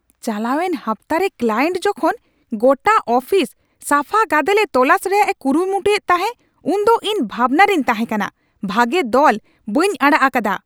ᱪᱟᱞᱟᱣᱮᱱ ᱦᱟᱯᱛᱟᱨᱮ ᱠᱞᱟᱭᱮᱱᱴ ᱡᱚᱠᱷᱚᱱ ᱜᱚᱴᱟ ᱟᱯᱷᱤᱥ ᱥᱟᱯᱷᱟ ᱜᱟᱫᱮᱞᱮ ᱛᱚᱞᱟᱥ ᱨᱮᱭᱟᱜ ᱮ ᱠᱩᱨᱩᱢᱩᱭᱮᱫ ᱛᱟᱦᱮᱸ ᱩᱱ ᱫᱚ ᱤᱧ ᱵᱷᱟᱵᱱᱟ ᱨᱤᱧ ᱛᱟᱦᱮᱸ ᱠᱟᱱᱟ᱾ ᱵᱷᱟᱹᱜᱮ ᱫᱚᱞ ᱵᱟᱹᱧ ᱟᱲᱟᱜ ᱟᱠᱟᱫᱟ ᱾